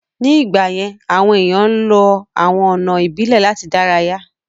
Ní ìgbà yẹ́n, àwọn èèyàn ń lọ àwọn ọ̀nà ìbílẹ̀ láti ìdárayá